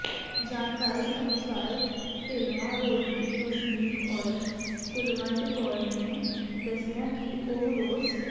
ਜਾਣਕਾਰੀ ਅਨੁਸਾਰ ਿਢੱਲਵਾਂ ਰੋਡ ਦੀ ਵਸਨੀਕ ਔਰਤ ਕੁਲਵੰਤ ਕੌਰ ਨੇ ਦੱਸਿਆਂ ਕਿ ਉਹ ਰੋਜ਼